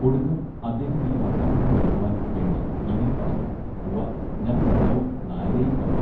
ഒടുക്കം അദ്ദേഹം ഈ വർത്തമാനം നിറുത്തുവാൻ വേണ്ടി ഇങ്ങനെ പറഞ്ഞു ഉവ്വ ഞാൻ വള്ളവും നായരെയും കണ്ടു.